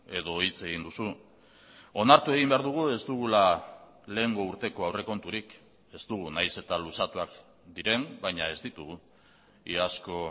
edo hitz egin duzu onartu egin behar dugu ez dugula lehengo urteko aurrekonturik ez dugu nahiz eta luzatuak diren baina ez ditugu iazko